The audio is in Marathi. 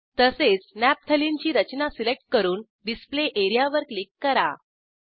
तसेच नफ्तालेने ची रचना सिलेक्ट करून डिस्प्ले एरियावर क्लिक करा